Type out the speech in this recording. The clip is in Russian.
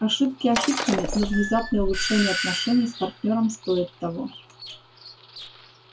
ошибки ошибками но внезапное улучшение отношений с партнёром стоит того